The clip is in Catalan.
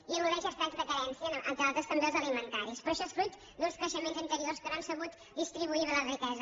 i al·ludeix a estats de carència entre altres també els alimentaris però això és fruit d’uns creixements anteriors que no han sabut distribuir bé la riquesa